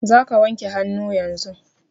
Za ka wanke hannu yanzun!